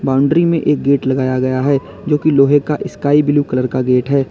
Boundary में एक gate लगाया गया है जो कि लोहे का स्काई ब्लू कलर का गेट है।